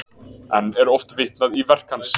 Enn er oft vitnað í verk hans.